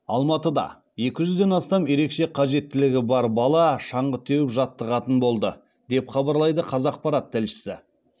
алматыда екі жүзден астам ерекше қажеттілігі бар бала шаңғы теуіп жаттығатын болды деп хабарлайды қазақпарат тілшісі